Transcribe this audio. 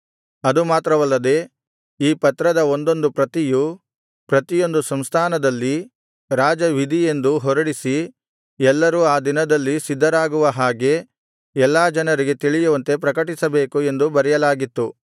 ಅದು ಮಾತ್ರವಲ್ಲದೆ ಈ ಪತ್ರದ ಒಂದೊಂದು ಪ್ರತಿಯು ಪ್ರತಿಯೊಂದು ಸಂಸ್ಥಾನದಲ್ಲಿ ರಾಜವಿಧಿಯೆಂದು ಹೊರಡಿಸಿ ಎಲ್ಲರೂ ಆ ದಿನದಲ್ಲಿ ಸಿದ್ಧರಾಗಿರುವ ಹಾಗೆ ಎಲ್ಲಾ ಜನರಿಗೆ ತಿಳಿಯುವಂತೆ ಪ್ರಕಟಿಸಬೇಕು ಎಂದು ಬರೆಯಲಾಗಿತ್ತು